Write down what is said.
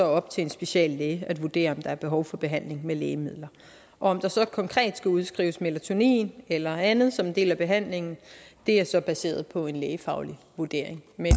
op til en speciallæge at vurdere om der er behov for behandling med lægemidler om der så konkret skal udskrives melatonin eller andet som en del af behandlingen er så baseret på en lægefaglig vurdering men